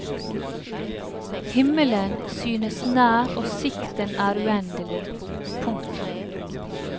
Himmelen synes nær og sikten er uendelig. punktum